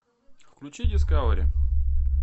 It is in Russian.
включи дискавери